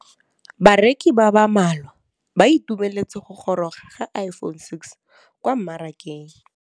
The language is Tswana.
Bareki ba ba malwa ba ituemeletse go gôrôga ga Iphone6 kwa mmarakeng.